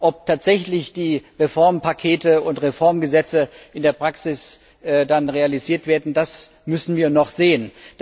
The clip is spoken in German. Ob tatsächlich die Reformpakete und Reformgesetze in der Praxis dann realisiert werden, das müssen wir noch sehen.